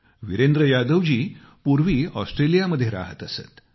वीरेंद्र यादव जी पूर्वी ऑस्ट्रेलियात राहत असत